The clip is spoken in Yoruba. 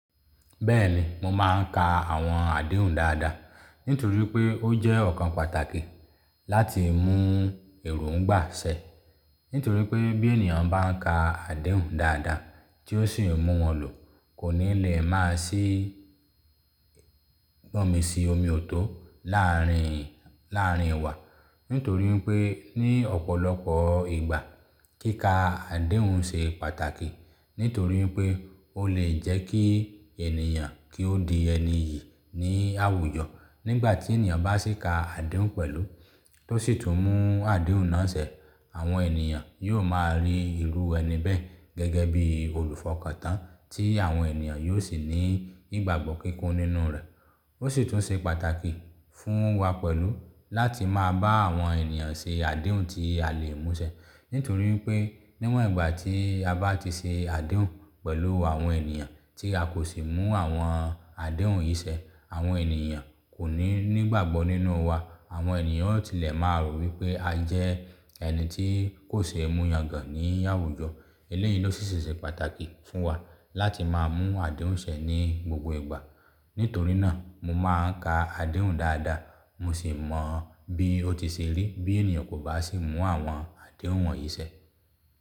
Bẹ́ẹ̀ni, mo máa ń ka àwọn àdéhùn dáadáa, nítorí pé ó jẹ́ ọ̀kan pàtàkì láti mú èròńgbà ṣẹ. Nítorí pé bí ènìyàn bá ń ka àdéhùn dáadáa tí ó sì ń mú wọn lò, kò ní lè má sì gbọ́nmi sí omi ò tó láàárín, láàárín wa. Nítorí pé ní ọ̀pọ̀lọpọ̀ ìgbà kíka àdéhùn ṣe pàtàkì. Nítorí pé ó lè jẹ́ kí ènìyàn kí ó di ẹni iyì ní àwùjọ. Nígbà tí ènìyàn bá sì ka àdéhùn pẹ̀lú, tó sì tún mú àdéhùn náà ṣẹ, àwọn ènìyàn yóò máa rí ìlú ẹni bẹ́ẹ̀ gẹ́gẹ́ bí olùfọkàntán tí àwọn ènìyàn yóò sì ní ìgbàgbọ́ kíkún nínú rẹ̀. Ó sì tún ṣe pàtàkì fún wa pẹ̀lú láti máa bá àwọn ènìyàn ṣe àdéhùn tí a lè mú ṣẹ. Nítorí pé níwọ̀n ìgbà tí a bá ti ṣe àdéhùn pẹ̀lú àwọn ènìyàn tí a kò sì mú àwọn àdéhùn yìí ṣẹ, àwọn ènìyàn kò ní ìgbàgbọ́ nínú wa. Àwọn ènìyàn ti lè máa rò wípé a jẹ́ ẹni tí kò ṣee mú yangàn ní àwùjọ. Eléyìí ló sì ṣe pàtàkì fún wa láti máa mú àdéhùn ṣẹ ní gbogbo ìgbà. Nítorí náà mo máa ń ka àdéhùn dáadáa, mo sì mọ bí ó ti ṣe rí bí ènìyàn kò bá sì mú àwọn àdéhùn wọ̀nyí ṣẹ.